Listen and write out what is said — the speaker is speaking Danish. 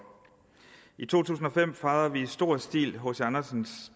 i to tusind og fem fejrede vi i stor stil hc andersens